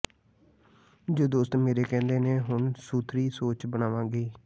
ਜੋ ਦੋਸਤ ਮੇਰੇ ਕਹਿੰਦੇ ਨੇ ਹੁਣ ਸੁਥਰੀ ਸੋਚ ਬਣਾਵਾਂਗੀ